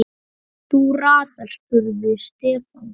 Þú ratar? spurði Stefán.